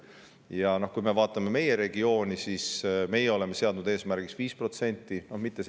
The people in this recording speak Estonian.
Ja meie oleme seadnud eesmärgiks 5%.